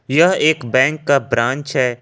यह एक बैंक का ब्रांच है।